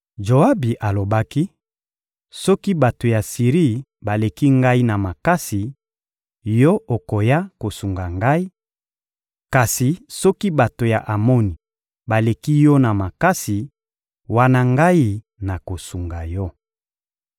Joabi alobaki: «Soki bato ya Siri baleki ngai na makasi, yo okoya kosunga ngai; kasi soki bato ya Amoni baleki yo na makasi, wana ngai nakosunga yo.